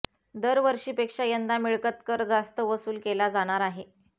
दरवर्षीपेक्षा यंदा मिळकत कर जास्त वसूल केला जाणार आहे